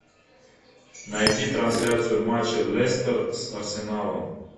найди трансляцию матча лестер с арсеналом